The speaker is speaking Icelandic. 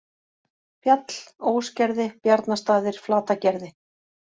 Fjall, Ósgerði, Bjarnastaðir, Flatagerði